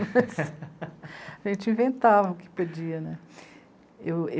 A gente inventava o que podia, né? Eu